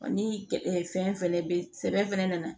Ni fɛn fɛnɛ bɛ sɛbɛn fɛnɛ nana